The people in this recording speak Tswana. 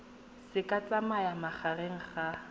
se ka tsayang magareng ga